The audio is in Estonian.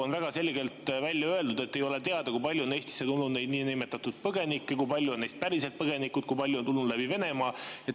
On väga selgelt välja öeldud, et ei ole teada, kui palju on Eestisse tulnud neid niinimetatud põgenikke, kui paljud neist on päriselt põgenikud, kui paljud on tulnud läbi Venemaa.